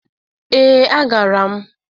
Ee, agara m